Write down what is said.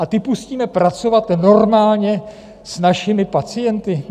A ty pustíme pracovat normálně s našimi pacienty?